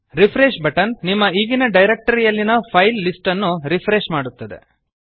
refresh button ನಿಮ್ಮ ಈಗಿನ directory ಯಲ್ಲಿನ ಫೈಲ್ ಲಿಸ್ಟ್ ನ್ನು ರಿಫ್ರೆಶ್ ಮಾಡುತ್ತದೆ